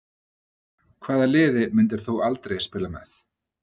Hvaða liði myndir þú aldrei spila með?